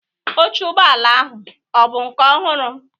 oche ụgbọ ala ahụ ọ bụ nke ọhụrụ?